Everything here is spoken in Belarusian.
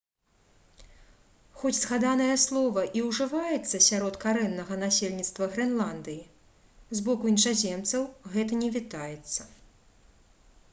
хоць згаданае слова і ўжываецца сярод карэннага насельніцтва грэнландыі з боку іншаземцаў гэта не вітаецца